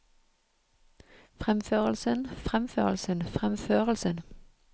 fremførelsen fremførelsen fremførelsen